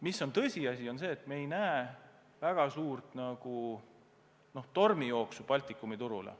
Paraku on tõsiasi, et me ei näe panganduses väga suurt tormijooksu Baltikumi turule.